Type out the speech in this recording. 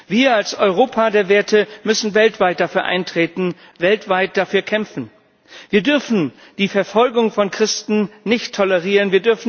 Wir als Europa der Werte müssen weltweit dafür eintreten, weltweit dafür kämpfen. Wir dürfen die Verfolgung von Christen nicht tolerieren.